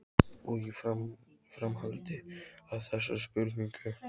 Og í framhaldi af þessari spurningu